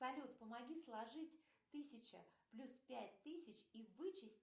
салют помоги сложить тысяча плюс пять тысяч и вычесть